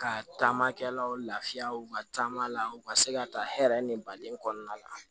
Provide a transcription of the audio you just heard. Ka taamakɛlaw lafiyaw ka taama la u ka se ka ta hɛrɛ ni baden kɔnɔna la